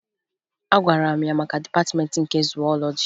Agwara m ya maka Dịpatịmeentị nke Zuwọlọji